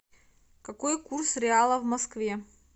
какой курс реала в москве